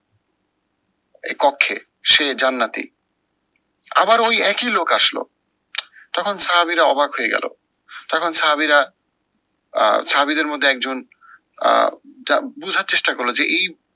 এ কক্ষে সে জান্নাতি। আবার ওই একে লোক আসলো, তখন সাহাবীরা অবাক হয়ে গেলো, তখন সাহাবীরা আহ সাহাবীদের মধ্যে একজন আহ যা বুঝার চেষ্টা করলো যে এই